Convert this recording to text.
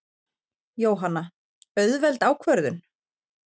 Jóhanna: Auðveld ákvörðun?